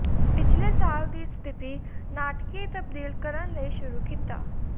ਪਿਛਲੇ ਸਾਲ ਦੀ ਸਥਿਤੀ ਨਾਟਕੀ ਤਬਦੀਲ ਕਰਨ ਲਈ ਸ਼ੁਰੂ ਕੀਤਾ